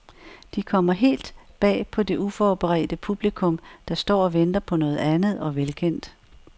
De kommer helt bag på det uforberedte publikum, der står og venter på noget andet og velkendt.